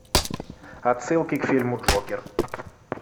отсылки к фильму джокер